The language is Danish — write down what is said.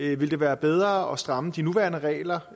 det ville være bedre at stramme de nuværende regler